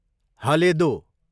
हलेदो